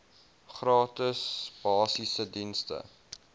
gratis basiese dienste